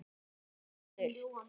Og enn er spurt.